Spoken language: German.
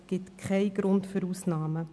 Es gibt keinen Grund für Ausnahmen.